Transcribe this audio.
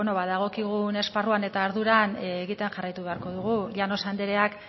bueno dagokigun esparruan eta arduran egiten jarraitu beharko dugu llanos andreak